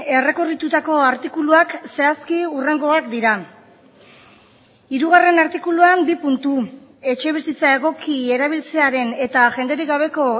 errekorritutako artikuluak zehazki hurrengoak dira hirugarrena artikuluan bi puntu etxebizitza egoki erabiltzearen eta jenderik gabeko